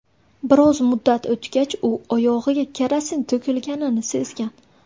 Biroz muddat o‘tgach u oyog‘iga kerosin to‘kilganini sezgan.